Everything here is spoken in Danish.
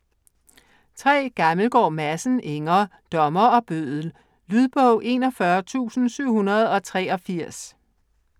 Gammelgaard Madsen, Inger: Dommer og bøddel Lydbog 41783